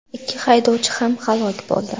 Ikki haydovchi ham halok bo‘ldi.